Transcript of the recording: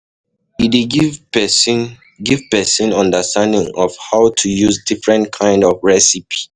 E dey give person give person understanding of how to use different kind of recipe